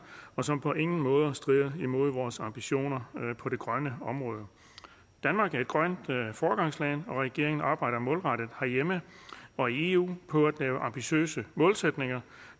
og som på ingen måde strider imod vores ambitioner på det grønne område danmark er et grønt foregangsland og regeringen arbejder målrettet herhjemme og i eu på at lave ambitiøse målsætninger